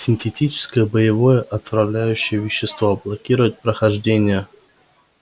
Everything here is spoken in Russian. синтетическое боевое отравляющее вещество блокирует прохождение